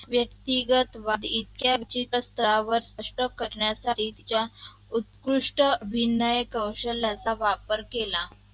व्यक्तिगत इत्यादीचा स्तरावर हस्तक करण्याचा साठी उत्कृष्ट अभिनयाच्या कौशल्याचा वापर केला